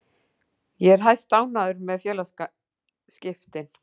Ég er hæstánægður með félagaskiptin.